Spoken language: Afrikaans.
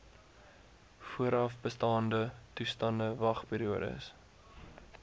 voorafbestaande toestande wagperiodes